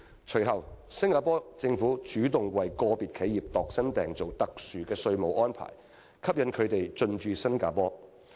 隨後，新加坡政府主動為個別企業度身訂造特殊的稅務安排，以吸引它們進駐新加坡。